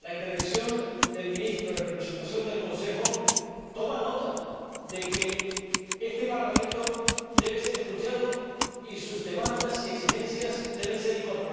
En su intervención, la Presidencia en ejercicio del Consejo toma nota de que este Parlamento debe ser escuchado y sus demandas y exigencias deben ser incorporadas.